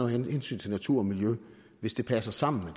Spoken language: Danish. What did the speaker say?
hensyn til natur og miljø hvis det passer sammen